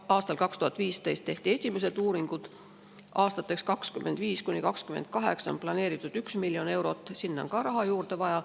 Aastal 2015 tehti esimesed uuringud, aastateks 2025–2028 on planeeritud 1 miljon eurot ja sinna on raha juurde vaja.